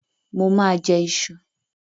Mo ma jẹ́ ìṣù